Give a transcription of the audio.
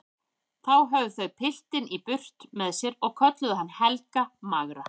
Þá höfðu þau piltinn í burt með sér og kölluðu hann Helga magra.